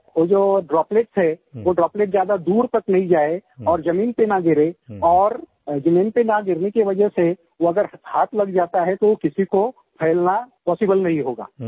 सो thought वो जो droplets हैं वो ड्रॉपलेट्स ज्यादा दूर तक नहीं जाएँ और ज़मीन पे ना गिरे और ज़मीन पे न गिरने की वजह से ज्यादा हाथ लग जाता है तो किसी को फैलना पॉसिबल नही होगा